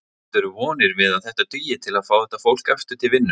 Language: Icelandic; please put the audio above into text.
Bindurðu vonir við að þetta dugi til að fá þetta fólk aftur til vinnu?